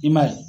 I m'a ye